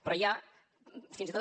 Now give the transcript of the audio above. però hi ha fins i tot